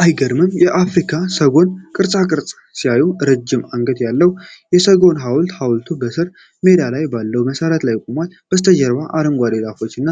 አይገርምም! የአፍሪካ ሰጎን ቅርፃቅርፅ ሲያዩ! ረዥም አንገት ያለው የሰጎን ሐውልት። ሐውልቱ በሣር ሜዳ ላይ ባለው መሠረት ላይ ቆሟል። ከበስተጀርባ አረንጓዴ ዛፎችና